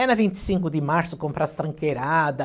Era vinte e cinco de março comprar as tranqueirada.